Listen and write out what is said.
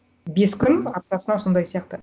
бес күн аптасына сондай сияқты